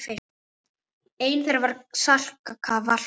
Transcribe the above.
Ein þeirra var Salka Valka.